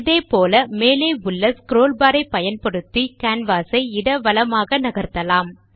இதே போல் மேலே உள்ள ஸ்க்ரோல் பார் ஐப் பயன்படுத்தி கேன்வாஸ் ஐ இட வலமாக நகர்த்தலாம்